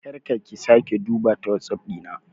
Kar ka/ki sake duba ta WhatsApp Dina.